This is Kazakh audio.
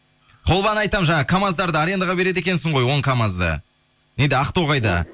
холваны айтамын жаңағы камаздарды арендаға береді екенсің ғой он камазды неде ақтоғайда